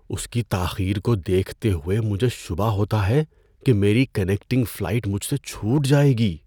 اس کی تاخیر کو دیکھتے ہوئے مجھے شبہ ہوتا ہے کہ میری کنیکٹنگ فلائٹ مجھ سے چھوٹ جائے گی۔